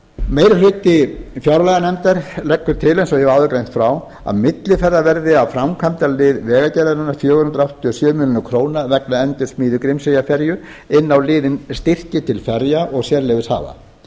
meiri hluti fjárlaganefndar leggur til eins og ég hef áður greint frá að millifærðar verði af framkvæmdalið vegagerðarinnar fjögur hundruð áttatíu og sjö milljónir króna vegna endursmíði grímseyjarferju inn á liðinn styrkir til ferja og sérleyfishafa